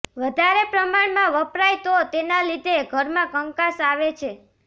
વધારે પ્રમાણમાં વપરાય તો તેના લીધે ઘરમાં કંકાસ આવે છે